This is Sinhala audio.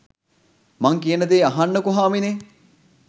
මං කියනදේ අහන්නකො හාමිනේ